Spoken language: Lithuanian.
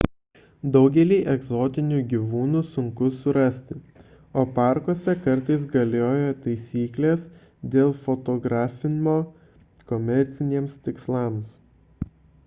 daugelį egzotinių gyvūnų sunku surasti o parkuose kartais galioja taisyklės dėl fotografimo komerciniams tikslams